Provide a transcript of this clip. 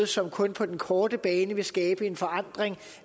som kun på den korte bane vil skabe forandring